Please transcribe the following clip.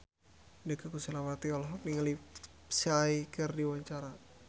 Inneke Koesherawati olohok ningali Psy keur diwawancara